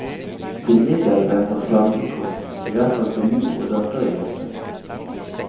Til middag venter slankekost, i hvert fall til mor og datter i huset.